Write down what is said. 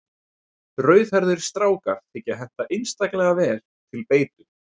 Rauðhærðir strákar þykja henta einstaklega vel til beitu.